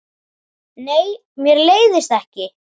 Nei, mér leiðist ekki.